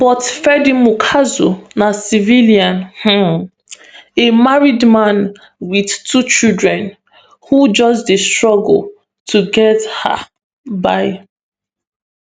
but freddy mukuza na civilian um a married man wit two children who just dey struggle to get um by